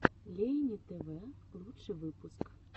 лейни тв лучший выпуск